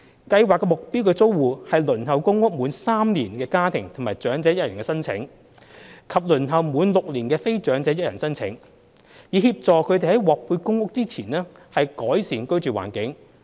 計劃的目標租戶是輪候公屋滿3年的家庭及長者1人申請者，以及輪候滿6年的非長者1人申請者，以協助他們在獲配公屋前改善居住環境。